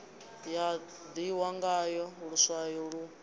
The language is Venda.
ya ḓihwa ngaḽo luswayo lu